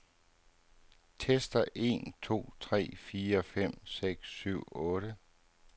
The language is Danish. Tester en to tre fire fem seks syv otte.